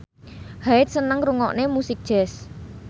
Hyde seneng ngrungokne musik jazz